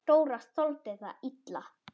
Dóra þoldi það illa.